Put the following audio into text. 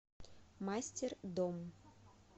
мастер дом